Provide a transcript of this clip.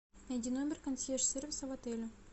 найди номер консьерж сервиса в отеле